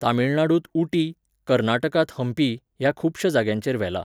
तामिळनाडूंत उटी, कर्नाटकांत हंपी, ह्या खुबश्या जाग्यांचेर व्हेलां.